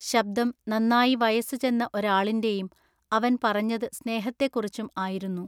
ശബ്ദം നന്നായി വയസ്സ് ചെന്ന ഒരാളിൻ്റെയും അവൻ പറഞ്ഞതു സ്നേഹത്തെക്കുറിച്ചും ആയിരുന്നു.